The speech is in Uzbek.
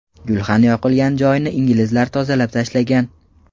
Gulxan yoqilgan joyni inglizlar tozalab tashlagan.